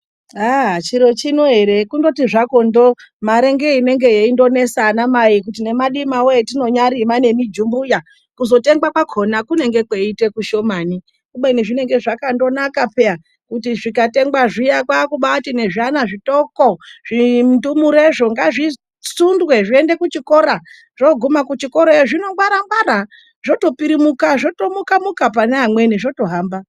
Aah! chiro chino ere kundoti zvako ndo mare ngeyenengeyoindonesa anamai kuti nemadimawo atinonyarima nemijumbuya kuzotengwa kwakona kunenge kweiite kushomani kubeni zvinenge zvakandonaka peya kuti zvikatengwa zviya kwaakubati ne zviana zvidoko ,zvindurumezvo ngazvisundwe zviende kuchikora zvogume kuchikorayo zvinongwarangwara zvotopirimuka zvotomuka muka pane amweni zvotohamba.